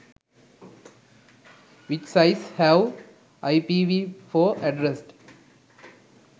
which size have ipv4 addressed?